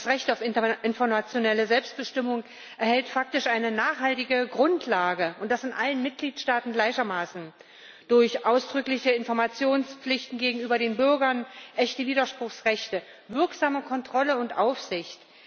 Das Recht auf informationelle Selbstbestimmung erhält faktisch eine nachhaltige Grundlage und das in allen Mitgliedstaaten gleichermaßen durch ausdrückliche Informationspflichten gegenüber den Bürgern, echte Widerspruchsrechte, wirksame Kontrolle und Aufsicht.